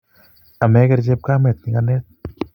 ameger chepkamet nyikanet